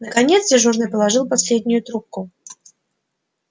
наконец дежурный положил последнюю трубку